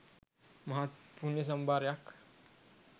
මහත් පුණ්‍ය සම්භාරයක්